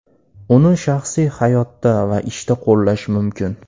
Uni shaxsiy hayotda va ishda qo‘llash mumkin.